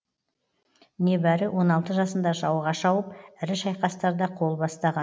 небәрі он алты жасында жауға шауып ірі шайқастарда қол бастаған